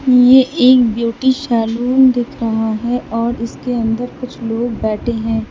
ये एक beauty salon दिख रहा है और उसके अंदर कुछ लोग बैठे हैं।